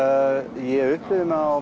ég upplifi mig á